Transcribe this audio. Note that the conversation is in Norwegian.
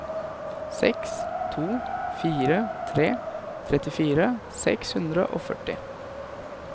seks to fire tre trettifire seks hundre og førti